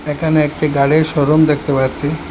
এখানে একটি গাড়ির শোরুম দেখতে পাচ্ছি।